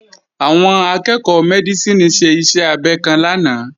Àwọn akẹ́ẹ̀kọ́ Mẹ́dísìnì ṣe iṣẹ́ abẹ kan lánàá